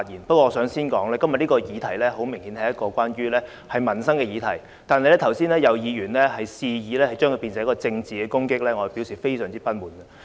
不過，我想先指出，今天這個議題很明顯是個民生議題，剛才有議員肆意偏離議題，發言旨在政治攻擊，我要表示非常不滿。